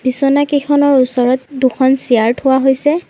বিছনাকেইখনৰ ওচৰত দুখন চিয়াৰ থোৱা হৈছে।